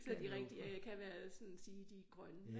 Så de rigtig øh kan være sådan sige de er grønne